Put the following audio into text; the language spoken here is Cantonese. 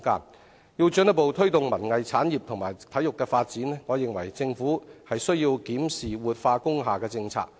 我認為，要進一步推動文藝產業及體育發展，政府必須檢視活化工廈政策。